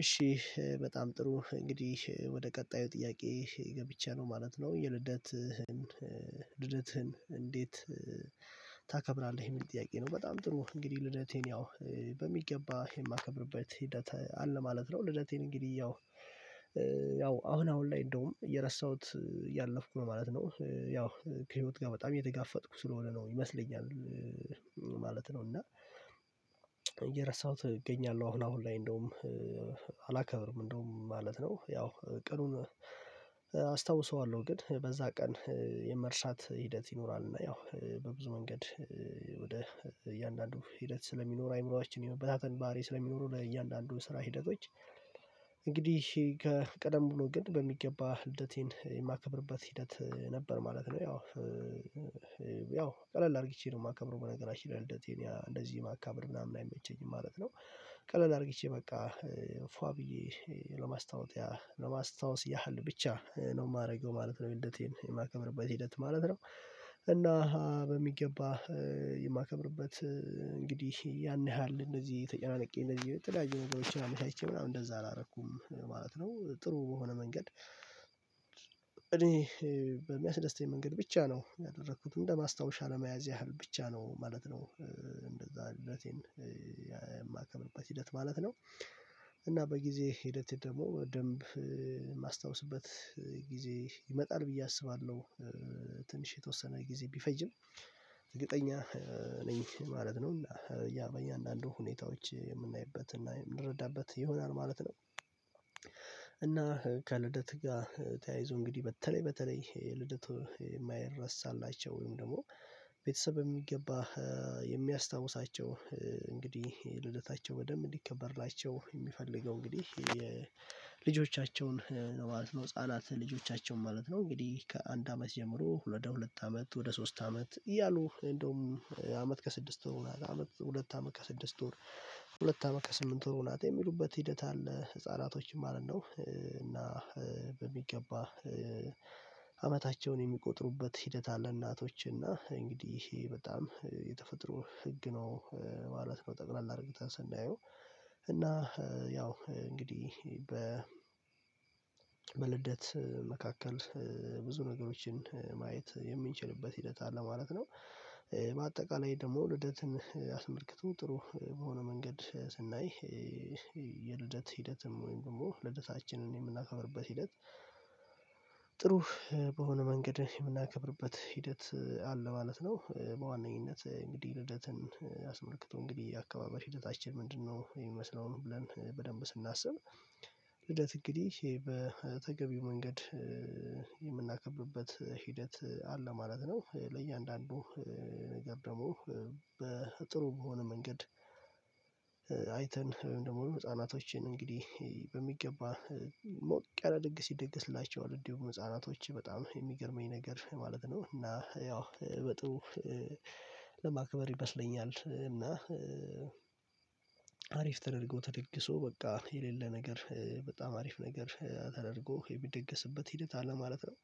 እሺ በጣም ጥሩ እንግዲህ ወደ ቀጣዩ ጥያቄ ገብቻለሁ ማለት ነው የልደትህን ልደትህን እንዴት ታከብራለህ የሚል ጥያቄ ነው? በጣም ጥሩ እንግዲህ ልደቴን ያው በሚገባ የማ ከብርበት ሂደት አለ ማለት ነው። ልደቴን እንግዲህ ያው ያው አሁን አሁን ላይ እንደውም እየረሳሁት እያለፍኩ ነው ማለት ነው ያው ከህይወት ጋር በጣም እየተጋፈጥኩ ስለሆነ ነው ይመስለኛል ማለት ነው። እና እየረሳሁት እገኛለሁ አሁን አሁን ላይ እንደውም አላከብርም እንደውም ማለት ነው። ያው ቀኑን አስታውሰዋለሁ ግን በዛ ቀን የመርሳት ሂደት ይኖራል እና ያው በብዙ መንገድ ወደ እያንዳንዱ ሂደት ስለሚኖር አእምሮአችን የመበታተን ባህሪ ስለሚኖረው ለእያንዳንዱ ስራ ሂደቶች። እንግዲህ ከቀደም ብሎ ግን በሚገባ ልደቴን የማከብርበት ሂደት ነበር ማለት ነው። ያው ያው ቀለል አድርጌ ነው የማከብረው በነገራችን ላይ ልደቴን ያ እንደዚህ ማካበድ ምናምን አይመቸኝም ማለት ነው። ቀለል አድርጌ በቃ ፏ ብዬ ለማስታወቲያ ለማስታወስ ያህል ብቻ ነው የማደርገው ማለት ነው የልደቴን የማከብርበት ሂደት ማለት ነው። እና በሚገባ የማከብርበት እንግዲህ ያን ያህል እንደዚህ ተጨናንቄ እንደዚህ የተለያዩ ነገሮችን አመቻችቼ ምናምን እንደዛ አላደረኩም ማለት ነው። ጥሩ በሆነ መንገድ እኔ በሚያስደስተኝ መንገድ ብቻ ነው ያደረኩትም እንደ ማስታወሻ ለመያዝ ያህል ብቻ ነው ማለት ነው። እንደዛ ልደቴን የማከብርበት ሂደት ማለት ነው። እና በጊዜ ሂደት ደግሞ በደንብ የማስታወስበት ጊዜ ይመጣል ብዬ አስባለሁ ትንሽ የተወሰነ ጊዜ ቢፈጅም እርግጠኛ ነኝ ማለት ነው። እና ያ በእያንዳንዱ ሁኔታዎች የምናይበት እና የምንረዳበት ይሆናል ማለት ነው። እና ከልደት ጋር ተያይዞ እንግዲህ በተለይ በተለይ ልደቱ የማይረሳላቸው ወይም ደግሞ ቤተሰብ በሚገባ የሚያስታውሳቸው እንግዲህ ልደታቸው በደምብ እንዲከበርላቸው የሚፈልገው እንግዲህ የልጆቻቸውን ነው ማለት ነው። ህፃናት ልጆቻቸውን ማለት ነው እንግዲህ ከአንድ አመት ጀምሮ ሁለት ወደ ሁለት አመት ወደ ሶስት አመት እያሉ እንደውም አመት ከስድስት ወር አመት ሁለት አመት ከስድስት ወር ሁለት አመት ከስምንት ወር ሆናት የሚሉበት ሂደት አለ ህፃናቶችን ማለት ነው። እና በሚገባ አመታቸውን የሚቆጥሩበት ሂደት አለ እናቶች እና እንግዲህ ይሄ በጣም የተፈጥሮ ህግ ነው ማለት ነው። ጠቅለል አድርገን ስናየው እና ያው እንግዲህ በልደት መካከል ብዙ ነገሮችን ማየት የምንችልበት ሂደት አለ ማለት ነው። በአጠቃላይ ደግሞ ልደትን አስመልክቶ ጥሩ በሆነ መንገድ ስናይ የልደት ሂደትም ወይም ደግሞ ልደታችንን የምናከብርበት ሂደት ጥሩ በሆነ መንገድ የምናከብርበት ሂደት አለ ማለት ነው። በዋነኝነት እንግዲህ ልደትን አስመልክቶ እንግዲህ የአከባበር ሂደታችን ምንድንነው የሚመስለውን ብለን በደንብ ስናስብ ልደት እንግዲ ህ በተገቢው መንገድ የምናከብርበት ሂደት አለ ማለት ነው። ለእያንዳንዱ ነገር ደግሞ በጥሩ በሆነ መንገድ በመሆኑም ህፃናቶችን እንግዲህ በሚገባ ሞቅ ያለ ድግስ ይደገስላቸዋል እንዲሁም ህፃ ናቶች በጣም የሚገርመኝ ነገር ማለት ነው እና ያው በጥሩ ለማክበር ይመስለኛል እና አሪፍ ተደርጎ ተደግሶ በቃ የሌለ ነገር በጣም አሪፍ ነገር ተደርጎ የሚደገስበት ሂደት አለ ማለት ነው።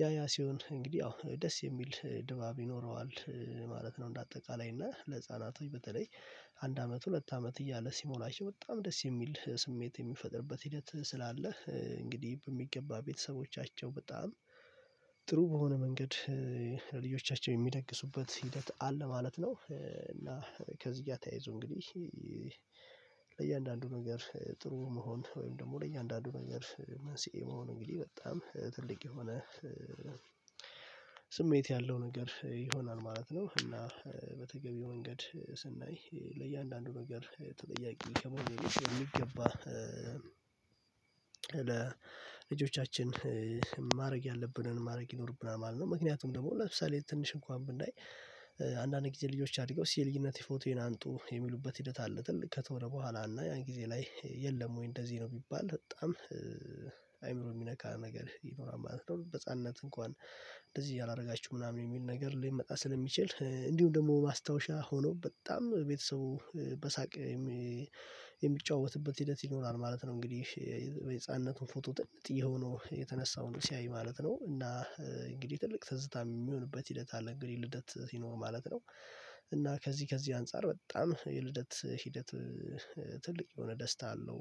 ያ ያ ሲሆን እንግዲህ አዎ ደስ የሚል ድባብ ይኖረዋል ማለት ነው። እንደ አጠቃላይ እና ለህፃናቶች በተለይ አንድ አመት ሁለት አመት እያለ ሲሞላቸው በጣም ደስ የሚል ስሜት የሚፈጥርበት ሂደት ስላለ እንግዲህ በሚገባ ቤተሰቦቻቸው በጣም ጥሩ በሆነ መንገድ ለልጆቻቸው የሚደግሱበት ሂደት አለ ማለት ነው። እና ከዚህ ጋር ተያይዞ እንግዲህ ለእያንዳንዱ ነገር ጥሩ መሆን ወይም ደግሞ ለእኛ አንዳንዱ ነገር መንስኤ መሆን እንግዲህ በጣም ትልቅ የሆነ ስሜት ያለው ነገር ይሆናል ማለት ነው። እና በተገቢው መንገድ ስናይ ለእያንዳንዱ ነገር ተጠያቂ ከመሆን በፊት የሚገባ ለልጆቻችን ማድረግ ያለብንን ማድረግ ይኖርብናል ማለት ነው። ምክንያቱም ደግሞ ለምሳሌ ትንሽ እንኳን ብናይ አንዳንድ ጊዜ ልጆች አድገው ሲ እሲ የልጅነት ፎቶዬን አምጡ የሚሉበት ሂደት አለ ትልቅ ከተሆነ በኋላ እና ያን ጊዜ ላይ የለም ወይ እንደዚህ ነው ቢባል በጣም አእምሮ የሚነካ ነገር ይኖራል ማለት ነው። በህፃንነት እንኳን እንደዚህ ያላደረጋችሁ ምናምን የሚል ነገር ሊመጣ ስለሚችል እንዲሁም ደግሞ ማስታወሻ ሆኖ በጣም ቤተሰቡ በሳቅ የሚ የሚጫወትበት ሂደት ይኖራል ማለት ነው። እንግዲህ ወይየህፃንነቱ ፎቶ ጥንጥየ ሆኖ የተነሳውን ሲያይ ማለት ነው እና እንግዲህ ትልቅ ትዝታ የሚሆንበት ሂደት አለ እንግዲህ ልደት ሲኖር ማለት ነው። እና ከዚህ ከዚህ አንፃር በጣም የልደት ሂደት ትልቅ የሆነ ደስታ አለው